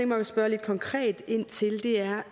mig at spørge lidt konkret ind til er